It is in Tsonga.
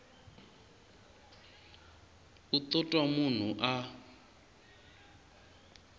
u to twa munhu a